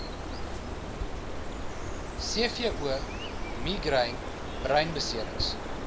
cvo migraine breinbeserings